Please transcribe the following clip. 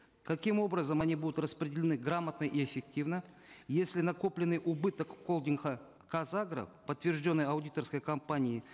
каким образом они будут распределены грамотно и эффективно если накопленный убыток казагро подтвержденный аудиторской компанией